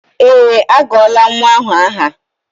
Eé, agụọla nnwa ahụ aha.